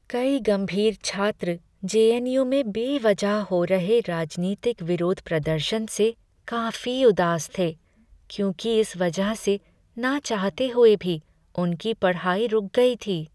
कई गंभीर छात्र जेएनयू में बेवजह हो रहे राजनीतिक विरोध प्रदर्शन से काफी उदास थे, क्योंकि इस वजह से ना चाहते हुए भी उनकी पढ़ाई रुक गई थी।